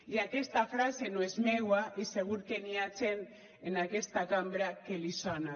i aquesta frase no és meua i segur que hi ha gent en aquesta cambra que li sona